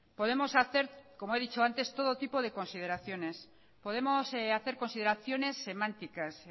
podemos hacer como he dicho antes todo tipo de consideraciones podemos hacer consideraciones semánticas